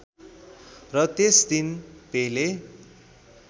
र त्यस दिन पेले